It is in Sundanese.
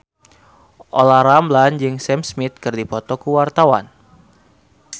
Olla Ramlan jeung Sam Smith keur dipoto ku wartawan